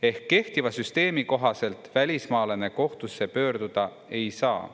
Ehk kehtiva süsteemi kohaselt välismaalane kohtusse pöörduda ei saa.